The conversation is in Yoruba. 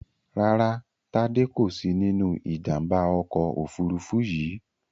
Rárá, Tádé kò sí nínú Ìjàm̀bá ọkọ̀ òfurufú yìí